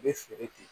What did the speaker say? U bɛ feere ten